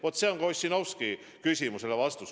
Vaat see on vastus ka Ossinovski küsimusele.